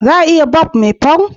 za ku iya Barb me punk